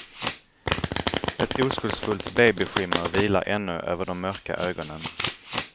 Ett oskuldsfullt babyskimmer vilar ännu över de mörka ögonen.